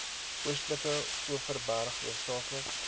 oostelike overberg hoofsaaklik